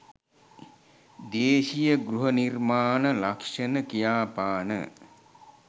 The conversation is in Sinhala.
දේශීය ගෘහ නිර්මාණ ලක්ෂණ කියාපාන